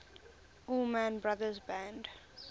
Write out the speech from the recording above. allman brothers band